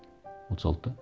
отыз алтыда